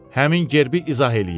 Həmin gerbi izah eləyin.